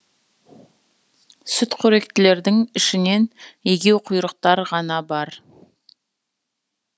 сүтқоректілердің ішінен егеуқұйрықтар ғана бар